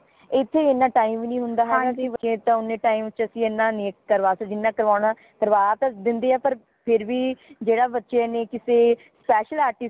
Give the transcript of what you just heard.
ਇਥੇ ਇਨਾ time ਨੀ ਹੁੰਦਾ ਹੈਗਾ ਕਿ ਉਨੇ time ਚ ਅਸੀਂ ਏਨਾ ਨਹੀਂ ਕਰਵਾ ਸਕਦੇ ਜਿਨਾਂ ਕਰਵਾਣਾ ਕਰਵਾ ਤਾ ਦਿੰਦੇ ਹਾ ਪਰ ਫੇਰ ਵੀ ਜੇੜਾ ਬੱਚੇ ਨੇ ਕਿਸੀ special artist